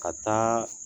Ka taa